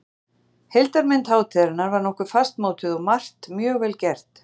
Heildarmynd hátíðarinnar var nokkuð fastmótuð og margt mjög vel gert.